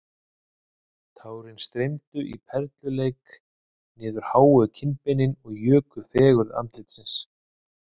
Tárin streymdu í perluleik niður háu kinnbeinin og juku fegurð andlitsins